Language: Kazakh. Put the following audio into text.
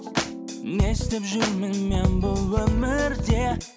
не істеп жүрмін мен бұл өмірде